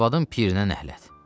Arvadın pirinə nəhlət.